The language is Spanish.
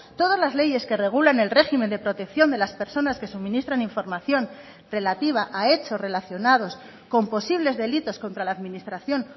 todas las leyes que regulan el régimen de protección de las personas que suministran información relativa a hechos relacionados con posibles delitos contra la administración